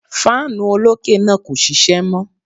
Fáànù olókè náà kò ṣiṣẹ́ mọ́.